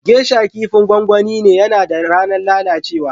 Geisha abincin gongoni ne, yana da ranan lallacewa.